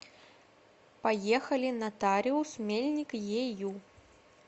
поехали нотариус мельник ею